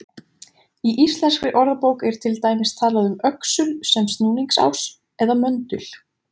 Í Íslenskri orðabók er til dæmis talað um öxul sem snúningsás eða möndul.